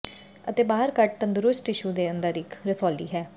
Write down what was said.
ਅਤੇ ਬਾਹਰ ਕੱਟ ਤੰਦਰੁਸਤ ਟਿਸ਼ੂ ਦੇ ਅੰਦਰ ਇੱਕ ਰਸੌਲੀ ਹੈ